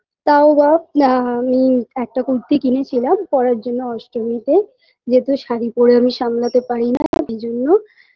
তাও বা না একটা কুর্তি কিনে ছিলাম পরার জন্য অষ্টমীতে যেহেতু শাড়ি পড়ে আমি সামলাতে পারি না তাই জন্য